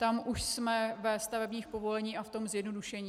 Tam už jsme ve stavebních povoleních a v tom zjednodušení.